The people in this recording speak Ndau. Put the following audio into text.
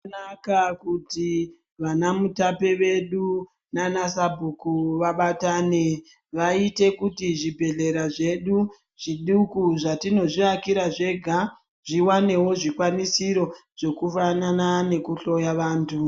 Zvakanaka kuti vana mutape vedu nana sabhuku vabatane vaite kuti zvibhedhlera zvedu zviduku zvatinozviakira zvega zviwanewo zvikwanisiro zvekufanana nekuhloya vantu.